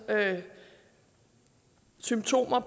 symptomer